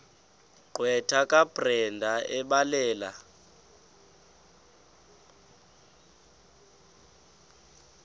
gqwetha kabrenda ebhalela